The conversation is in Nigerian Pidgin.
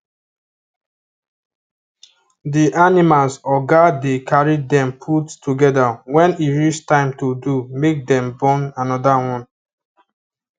the animals oga dey carry them put together when e reach time to do make them born another one